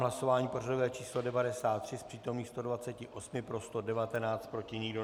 Hlasování pořadové číslo 93, z přítomných 128, pro 119, proti nikdo.